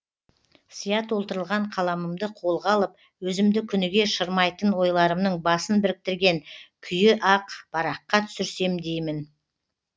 сия толтырылған қаламымды қолға алып өзімді күніге шырмайтын ойларымның басын біріктірген күйі ақ параққа түсірсем деймін